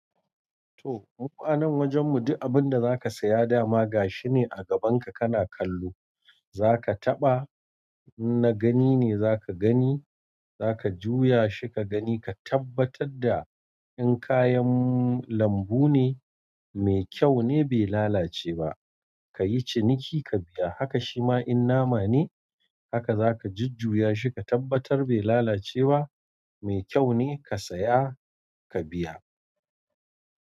To mu fa anan wajen mu duk abinda zaka saya dama gashine agaban ka kana kallo zaka taɓa inna gani ne zaka gani zaka juyashi kagani ka tabbatar da in kayan lambu ne, mai kyau ne bai lalace ba, ka yi ciniki ka biya. Haka shima in nama ne, haka za ka jujjuya shi ka tabbatar bai lalace ba, mai kyau ne, ka saya ka biya.